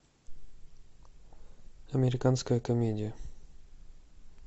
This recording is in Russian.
американская комедия